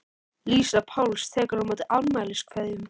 Lísa Páls tekur á móti afmæliskveðjum.